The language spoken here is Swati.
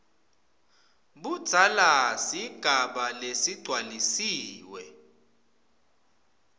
budzala sigaba lesigcwalisiwe